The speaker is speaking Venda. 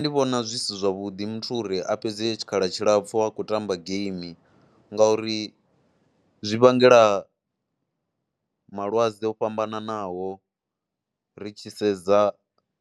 Ndi vhona zwi si zwavhuḓi muthu uri a fhedze tshikhala tshilapfhu a khou ṱamba game ngauri zwi vhangela malwadze o fhambananaho ri tshi sedza